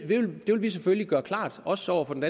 vi selvfølgelig gøre klart også over for den